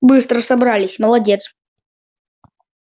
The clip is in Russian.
быстро собрались молодец